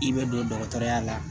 I bɛ don dɔgɔtɔrɔya la